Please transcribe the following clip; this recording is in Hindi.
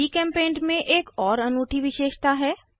जीचेम्पेंट में एक और अनूठी विशेषता है